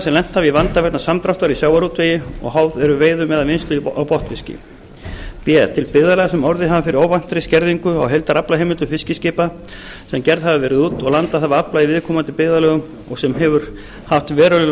sem lent hafa í vanda vegna samdráttar í sjávarútvegi og háð eru veiðum eða vinnslu á botnfiski b til byggðarlaga sem hafa orðið fyrir óvæntri skerðingu á heildaraflaheimildum fiskiskipa sem gerð hafa verið út og landað hafa afla í viðkomandi byggðarlögum og sem hefur haft veruleg